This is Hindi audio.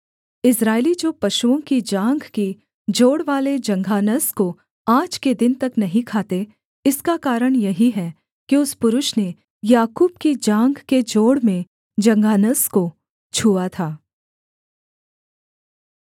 इस्राएली जो पशुओं की जाँघ की जोड़वाले जंघानस को आज के दिन तक नहीं खाते इसका कारण यही है कि उस पुरुष ने याकूब की जाँघ के जोड़ में जंघानस को छुआ था